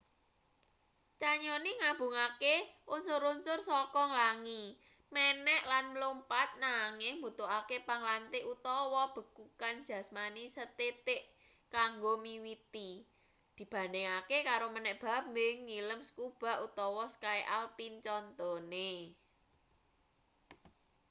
canyoning nggabungake unsur-unsur saka nglangi menek lan mlumpat--nanging mbutuhake panglantih utawa bekukan jasmani sethithik kanggo miwiti dibandhingake karo menek bambing nyilem scuba utawa ski alpin contone